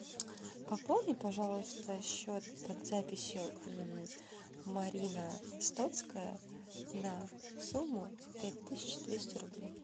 пополни пожалуйста счет под записью марина стоцкая на сумму пять тысяч двести рублей